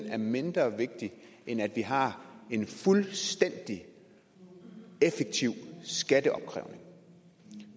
er mindre vigtig end at vi har en fuldstændig effektiv skatteopkrævning